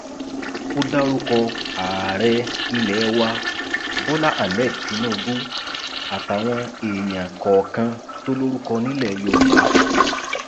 ó dárúkọ ààrẹ ilẹ wa bọlá ahmed tinubu àtàwọn èèyàn kọọkan tó lórúkọ nílẹ yorùbá